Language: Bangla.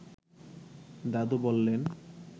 দাদু বললেন